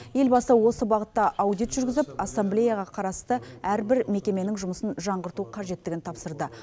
елбасы осы бағытта аудит жүргізіп ассамблеяға қарасты әрбір мекеменің жұмысын жаңғырту қажеттігін тапсырды